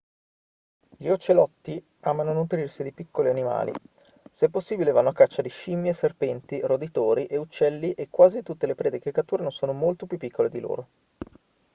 gli ocelotti amano nutrirsi di piccoli animali se possibile vanno a caccia di scimmie serpenti roditori e uccelli e quasi tutte le prede che catturano sono molto più piccole di loro